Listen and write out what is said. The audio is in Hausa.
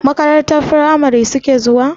Makarantar firamari suke zuwa?